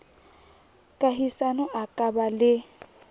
kahisano a ka ba le